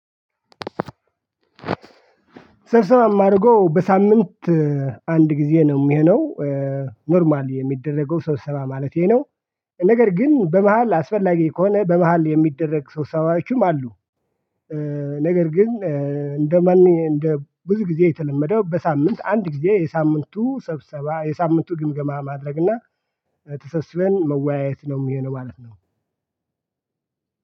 ሰብሰባም አድርጎ በሳምንት አንድ ጊዜ ነው የሚሆነው ኖርማል የሚደረገው ሰው ሰባ ማለቴ ነው። ነገር ግን በመሃል አስፈላጊ ከሆነ በመሃል የሚደረግ ሰብሰባዎችም አሉ። ነገር ግን እንደማን እንደ ብዙ ጊዜ የተለመደው በሳምንት አንድ ጊዜ የሳምንቱ ሰብሰባ የሳምንቱ ግምገማ ማድረግ እና ተሰብስበን መወያየት ነው የሚሆነው ማለት ነው